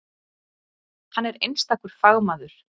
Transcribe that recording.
Hann er einstakur fagmaður.